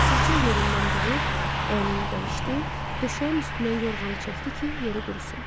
Səssizcə yerindən durub əynini dəyişdi, döşəyin üstündən yorğanı çəkdi ki, yeri qurusun.